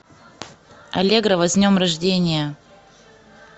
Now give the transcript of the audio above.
аллегрова с днем рождения